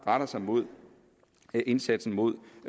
sig mod indsatsen mod